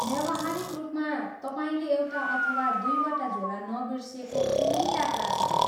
व्यावहारिक रूपमा तपाईँले एउटा अथवा दुईटा झोला नबिर्सिएको कुनै यात्रा छैन।